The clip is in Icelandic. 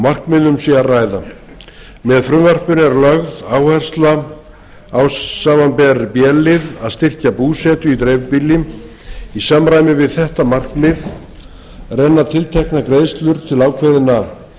markmiðum sé að ræða með frumvarpinu er lögð áhersla samanber b lið að styrkja búsetu í dreifbýli í samræmi við þetta markmið renna tilteknar greiðslur til ákveðinna